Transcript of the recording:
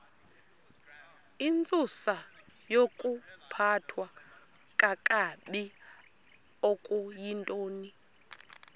intsusayokuphathwa kakabi okuyintoni